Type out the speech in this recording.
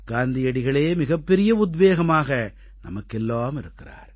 காந்தியடிகளே மிகப்பெரிய உத்வேகமாக நமக்கெல்லாம் இருக்கிறார்